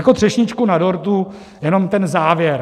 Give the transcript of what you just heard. Jako třešničku na dortu jenom ten závěr.